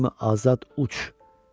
quş kimi azad uç.